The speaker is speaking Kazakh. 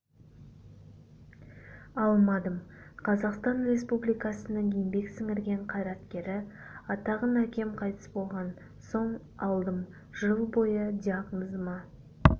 алмадым қазақстан республикасының еңбек сіңірген қайраткері атағын әкем қайтыс болған соң алдым жыл бойы диагнозыма